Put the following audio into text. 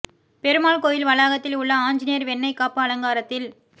பெருமாள் கோயில் வளாகத்தில் உள்ள ஆஞ்சநேயர் வெண்ணை காப்பு அலங்காரத்தில்